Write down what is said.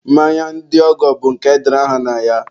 mmanya ndị ọgọ bụ nke edere aha na ya.